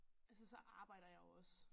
Altså så arbejder jeg jo også